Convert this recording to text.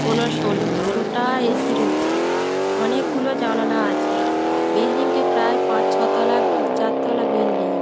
কোনো সোলো সোলোটা এ.সি. রয়েছে। অনেক গুলো জানালা আছে। বিল্ডিং টি প্রায় পাঁচ ছ তলা উম চার তলা বিল্ডিং ।